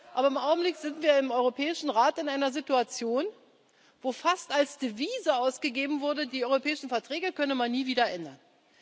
Aber im Augenblick sind wir im Europäischen Rat in einer Situation, wo fast als Devise ausgegeben wurde, die Europäischen Verträge könne man nie wieder ändern.